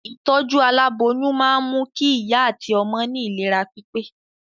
Ìtọ́jú aláboyún máa mú kí ìyá àti ọmọ ní ìlera pípé